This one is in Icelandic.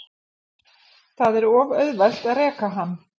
Það er of auðvelt að reka hann.